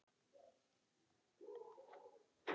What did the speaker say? Ég kem strax- svaraði Smári.